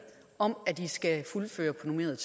om at de skal fuldføre på normeret